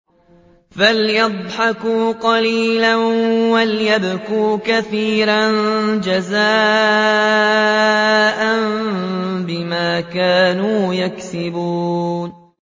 فَلْيَضْحَكُوا قَلِيلًا وَلْيَبْكُوا كَثِيرًا جَزَاءً بِمَا كَانُوا يَكْسِبُونَ